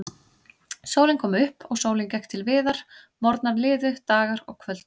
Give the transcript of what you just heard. Sólin kom upp og sólin gekk til viðar, morgnar liðu, dagar og kvöld.